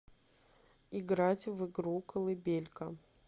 играть в игру колыбелька